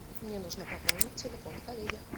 мне нужно пополнить телефон коллеги